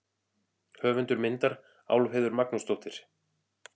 Höfundur myndar: Álfheiður Magnúsdóttir.